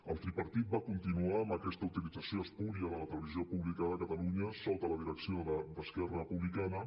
el tripartit va continuar amb aquesta utilització espúria de la televisió pública de catalunya sota la direcció d’esquerra republicana